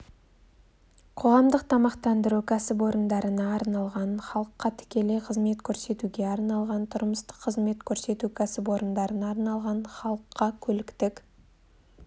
қоғамдық тамақтандыру кәсіпорындарына арналған халыққа тікелей қызмет көрсетуге арналған тұрмыстық қызмет көрсету кәсіпорындарына арналған халыққа көліктік